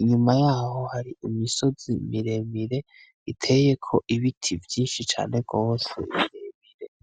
inyuma yaho hari imisozi miremire iteyeko ibiti vyinshi cane gose birebire.